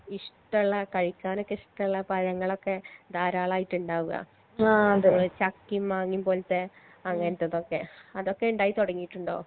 ഇഷ്‌ട്ടള്ള കഴിക്കാനൊക്കെ ഇഷ്ട്ടള്ള പഴങ്ങളൊക്കെ ധാരാളായിട്ട് ഇണ്ടാവാ ചക്കിം മാങ്ങി പോലത്തെ അങ്ങനത്തതൊക്കെ അതൊക്കെ ഇണ്ടായി തൊടങ്ങീട്ട്ണ്ടോ